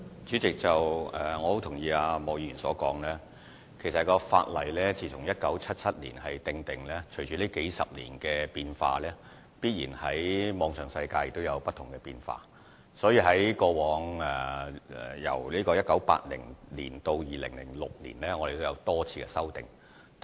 主席，我十分同意莫議員的說法，法例在1977年制定，隨着數十年的變化及網上世界的變化，由1980年至2006年已經作出多次修訂。